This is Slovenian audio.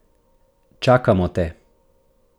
Čakamo te!